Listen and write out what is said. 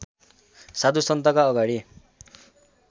साधुसन्तका अगाडि